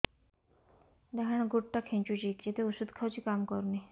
ଡାହାଣ ଗୁଡ଼ ଟା ଖାନ୍ଚୁଚି ଯେତେ ଉଷ୍ଧ ଖାଉଛି କାମ କରୁନି